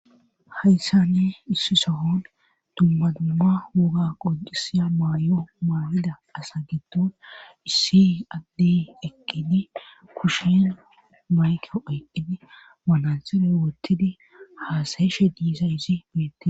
Hayssani issi sohon dumma dumma woga qodisiya maay 'o maawida asa getton issi addi eqqidi kushen mayko eqqidi manaxere wottidi haasayeshe diiza izi beette.